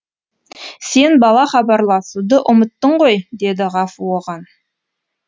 сен бала хабарласуды ұмыттың ғой дейді ғафу оған